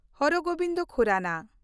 ᱦᱚᱨ ᱜᱳᱵᱤᱱᱫ ᱠᱷᱩᱨᱟᱱᱟ